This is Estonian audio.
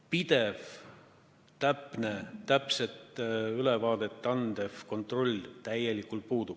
Pidevat täpset ülevaadet andev kontrollimehhanism puudub täielikult.